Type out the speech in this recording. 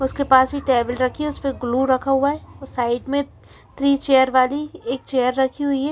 उसके पास ही टेबल रखी है उसे पे ग्लू रखा हुआ है अ साइड में थ्री चेयर वाली एक चेयर रखी हुई है।